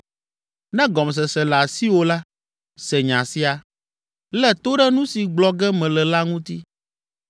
“Ne gɔmesese le asiwò la, se nya sia, lé to ɖe nu si gblɔ ge mele la ŋuti.